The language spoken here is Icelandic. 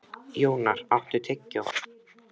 Jónar, áttu tyggjó?